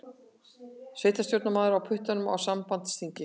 Sveitarstjórnarmaður á puttanum á sambandsþing